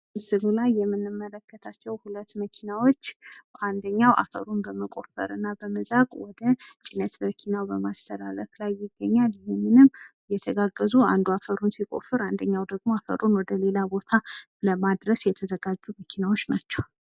ምስሉ ላይ የምንመለከታቸው ሁለት መኪናዎች ፤ አንድኛዉ አፈሩን በመቆፈር እና በመዛቅ ወደ ጭነት መኪናዉ ላይ በማስተላለፍ ላይ ይገኛል፤ ይህንንም እይተጋገዙ አንድ አፈሩን ሲቆፍር አንዱ ደሞ አፈሩን ወደ ሌላ ቦታ ለማድረስ የተዘጋጁ መኪናዎች ናቸዉ።